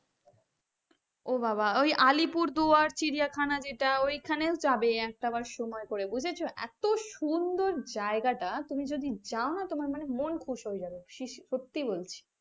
ও বাবা ওই আলিপুরদুয়ার চিড়িয়াখানা যেটা ওইখানে যাবে একটাবার সময় করে বুঝেছ এত সুন্দর জায়গাটা তুমি যদি যাও না তোমার মন খুশ হয়ে যাবে সত্যি বলছি,